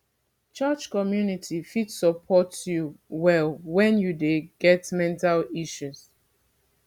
church community fit support you well wen you dey get mental issues